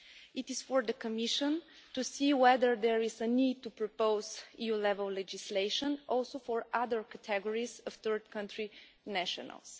It is for the Commission to see whether there is a need to propose EU level legislation also for other categories of third country nationals.